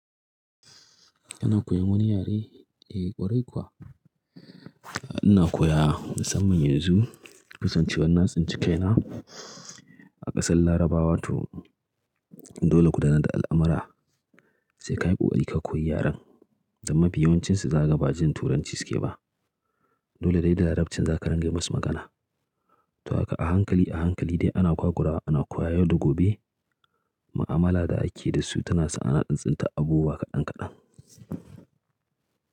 Ina koyan wani yare ee ƙwarai kuwa? Ina koya musamman yanzu kasancewan na tsince kai na a ƙasar Larabawa to dole ku danar da al'amara sai ka yi ƙoƙari ka koyi yaren, dan mafi yawancinsu za ka ga ba jin Turanci suke ba. Dole dai da Larabcin za ka ringa musu magana. To a haka a hankali a hankali dai ana kwakurawa ana koya yau da gobe, ma'amala da ake da su tana sa ana tsin tsintar abubuwa kaɗan kaɗan.